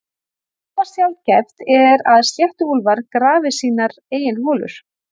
Afar sjaldgæft er að sléttuúlfar grafi sínar eigin holur.